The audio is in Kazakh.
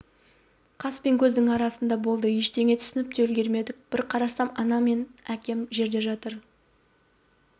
қас пен көздің арасында болды ештеңе түсініп те үлгермедік бір қарасам анам мен әпкем жерде жатыр